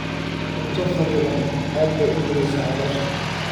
Cunto kharriban aad bay u dhibaysaa caloosha.